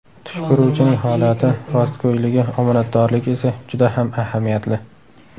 Tush ko‘ruvchining holati, rostgo‘yligi, omonatdorligi esa juda ham ahamiyatli.